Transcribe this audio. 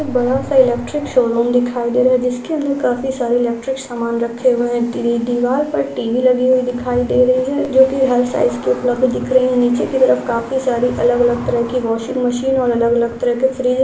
एक बाद सा इलेक्ट्रिक शोरूम दिखाई दे रहा है जिसके अंदर काफी सारे इलेक्ट्रिक सामान रखे हुए है टिरी दीवाल पर टी_वी लगी हुई दिखाई दे रही है जो की हर साइज़ की उपलब्ध दिख रही है नीचे की तरफ काफी सारी अलग अलग तरह की वॉशिंग मशीन ओर अलग तरह के फ्रिज है।